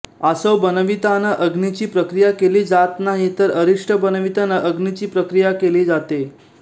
आसव बनविताना अग्नीची प्रक्रिया केली जात नाही तर अरिष्ट बनविताना अग्नीची प्रक्रिया केली जाते